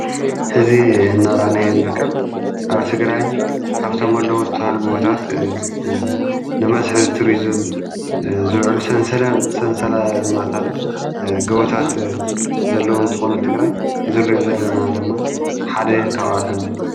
ሕዚ እናራእናይ ንርከብ ኣብ ትግራይ ካብቶም ኣለዉ ዝተውሃል ጐወታት ንመስህብ ቱርዝም ዝውዕሉ ሠንሰለታዊ ገዉታት ዘለዉን ተኾኑ ትግራይ እዙይ ንሪኦ ዘለና ድማ ሃደ ካባቶም እዩ፡፡